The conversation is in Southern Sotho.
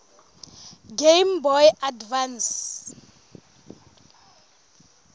game boy advance